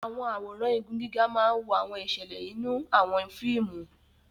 Àwọn àwòrán igun gíga máa ń wo àwọn ìṣẹ̀lẹ̀ nínú àwọn fíìmù.